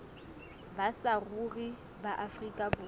ba saruri ba afrika borwa